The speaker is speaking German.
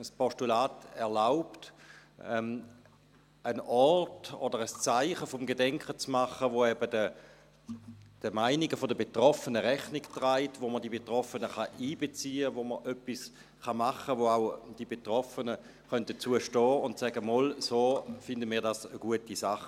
Das Postulat erlaubt, einen Ort oder ein Zeichen des Gedenkens zu schaffen, das eben den Meinungen der Betroffenen Rechnung trägt und bei dem man die Betroffenen einbeziehen kann, bei dem man etwas machen kann, zu dem auch die Betroffenen stehen können und sagen: «Doch, so finden wir das eine gute Sache.